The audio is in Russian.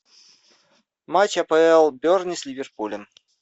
матч апл бернли с ливерпулем